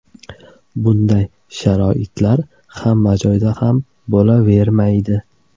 Bunday sharoitlar hamma joyda ham bo‘lavermaydi.